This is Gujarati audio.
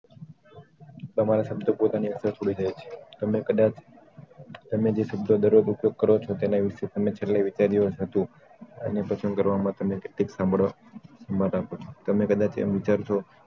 તમારા શબ્દો પોતાની જાતે છોડી દે છે તમે કદાચ તમે જે શબ્દો દરરોજ ઉપયોગ કરો છો તેના વિશે તમે છેલ્લે વિચાર્યું હતું અને પરેશાન કરવા માટેની કેટલીક માથાકૂટ તમે કદાચ એમ વિચારશો